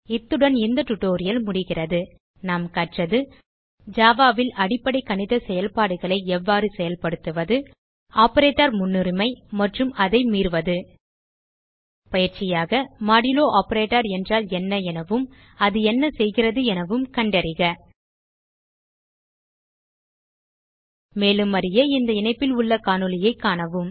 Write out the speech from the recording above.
இத்துடன் இந்த டியூட்டோரியல் முடிகிறது நாம் கற்றது ஜாவா ல் அடிப்படை கணித செயல்பாடுகளை எவ்வாறு செயல்படுத்துவது ஆப்பரேட்டர் முன்னுரிமை மற்றும் அதை மீறுதல் பயிற்சியாக மாடுலோ ஆப்பரேட்டர் என்றால் என்ன எனவும் அது என்ன செய்கிறது எனவும் கண்டறிக மேலும் அறிய இந்த இணைப்பில் உள்ள காணொளியைக் காணவும்